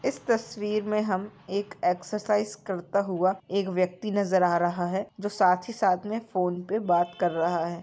इस तस्वीर में हमएक एक्सरसाइज करता हुआ एक व्यक्ति नजर आ रहा हैं जो साथ ही साथ में फ़ोन पे बात कर रहा हैं।